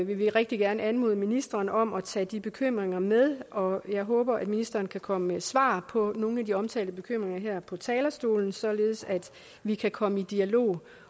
vil vi rigtig gerne anmode ministeren om at tage de bekymringer med og jeg håber ministeren kan komme med svar på nogle af de omtalte bekymringer her på talerstolen således at vi kan komme i dialog